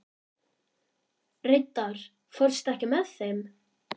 Reidar, ekki fórstu með þeim?